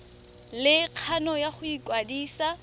le kgano ya go ikwadisa